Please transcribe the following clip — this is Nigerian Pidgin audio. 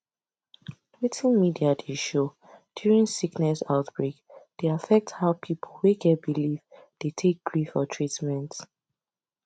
wetin media dey show during sickness outbreak dey affect how people wey get belief dey take gree for treatment